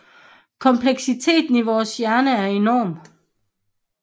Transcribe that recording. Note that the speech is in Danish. Kompleksiteten i vores hjerne er enorm